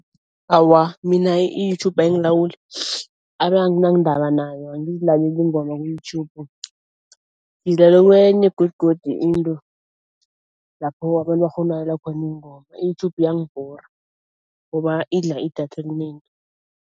Awa mina i-YouTube ayingilawuli abe anginandaba nayo, angizilaleli iingoma ku-YouTube ngizilalela kwenye godugodu into lapho abantu bakghona ukulalela khona iingoma. I-YouTube iyangibhora ngoba idla idatha elinengi.